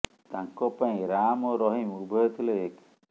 ତାଙ୍କ ପାଇଁ ରାମ ଓ ରହିମ ଉଭୟ ଥିଲେ ଏକ